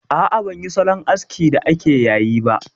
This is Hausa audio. A'a, ban yi salon askin da ake yayi ba